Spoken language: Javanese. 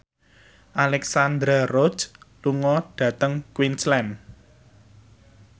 Alexandra Roach lunga dhateng Queensland